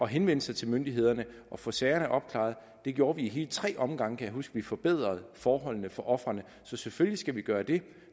henvende sig til myndighederne og få sagerne opklaret det gjorde vi ad hele tre omgange kan jeg huske vi forbedrede forholdene for ofrene så selvfølgelig skal vi gøre det